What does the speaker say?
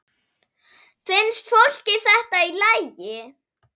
Finnst fólki þetta í lagi?